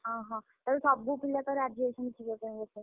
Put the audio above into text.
ଓହୋଃ, ତାହେଲେ ସବୁ ପିଲା ତ ରାଜିହେଇଛନ୍ତି ବୋଧେ ଯିବା ପାଇଁ ବୋଧେ?